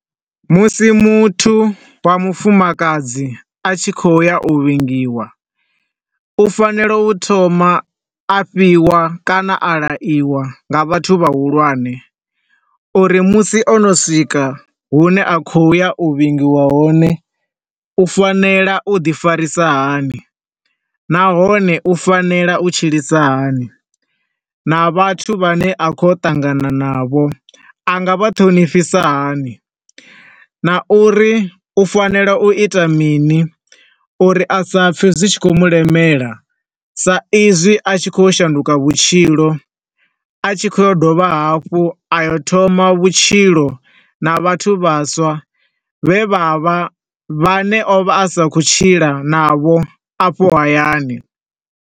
Musi muthu wa mufumakadzi a tshi khouya u vhingiwa, u tea a thoma a fhiwa kana a laiwa nga vhathu vha hulwane, uri musi o no swika hune a khouya u vhingiwa hone, u fanela u ḓi farisa hani. Nahone, u fanela u tshilisa hani, na vhathu vha ne akhou ya u ṱangana na vho, a nga vha ṱhonifhisa hani, na uri u fanela u ita mini uri a sa pfe zwi tshi khou mulemela sa izwi a tshi khou ya u shanduka vhutshilo, a tshi khou yo dovha hafhu a yo thoma vhutshilo na vhathu vhaswa, vhe vha vha, vha ne o vha a sa khou tshila na vho a fho hayani.